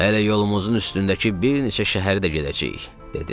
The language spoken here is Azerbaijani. Hələ yolumuzun üstündəki bir neçə şəhəri də gedəcəyik, dedi.